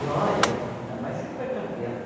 Glória, ainda mais se foi campeã.